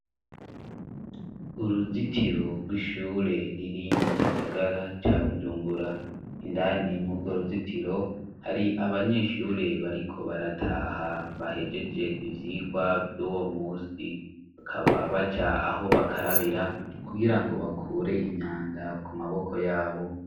Uruzitiro rw'ishure riri mu gisagara ca bujumgura indanimwe urwo ruzitiro hari abanyeshure bariko barataha bahejeje ivyirwa vy'uwo musi bakaba baca aho bakarabira kugira ngo bakure imyanda ku maboko yabo.